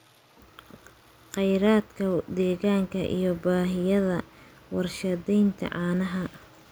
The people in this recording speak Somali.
Khayraadka deegaanka iyo baahiyaha warshadaynta caanaha.